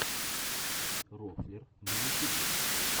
рофлер на ютюбе